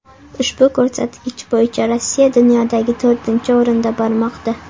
Ushbu ko‘rsatkich bo‘yicha Rossiya dunyoda to‘rtinchi o‘rinda bormoqda.